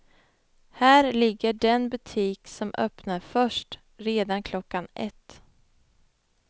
Här ligger den butik som öppnar först, redan klockan ett.